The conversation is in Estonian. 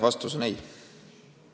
Vastus on ei.